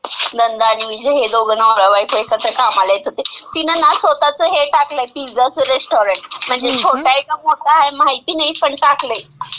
नंदा आणि विजय हे दोघं नवरा-बायको एकत्र कामाला येत होते, तिनं ना स्वतःचं हे टाकलंय पिझ्झाचं रेस्टॉरंट.म्हणजे छोटं आहे का मोठं आहे माहिती नाही, पण टाकलंय.